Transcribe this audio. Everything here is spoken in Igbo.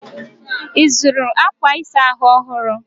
Ị zụrụ akwa ịsa ahụ ọhụrụ?